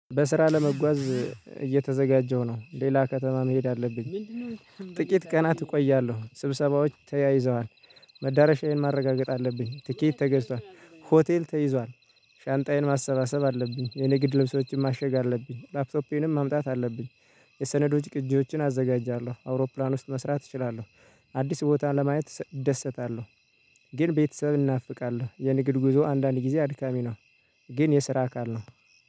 በስራ ለመጓዝ እየተዘጋጀው ነው ሌላ ከተማ መሄድ አለብኝ። ጥቂት ቀናት እቆያለሁ ስብሰባዎች ተያይዘዋል። መዳረሻዬን ማረጋገጥ አለብኝ ቲኬት ተገዝቷል ሆቴል ተይዟል። ሻንጣዬን ማሰባሰብ አለብኝ የኔ ግድ ለምሳሌ ሰዎችን ማሸግ አለብኝ ላፕቶፕንም ማምጣት አለብኝ። የሰነዶች ቅጂዎችን አዘጋጃለሁ አውሮፕላን ውስጥ መስራት እችላለሁ። አዲስ ቦታ ለማየት እደሰታለሁ። ግን ቤተሰብ እናፍቃለሁ የንግድ ጉዞ አንዳንድ ጊዜ አድካሚ ነው። ግን የስራ አካል ነው